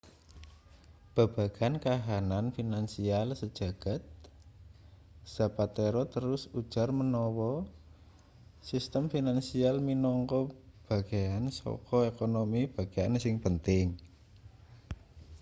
babagan kahanan finansial sejagad zapatero terus ujar manawa sistem finansial minangka bagean saka ekonomi bagean sing penting